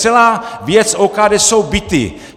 Celá věc OKD jsou byty!